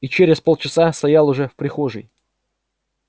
и через полчаса стоял уже в прихожей